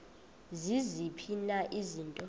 ziziphi na izinto